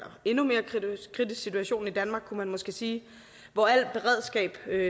endnu mere kritisk situation i danmark kunne man måske sige hvor al beredskab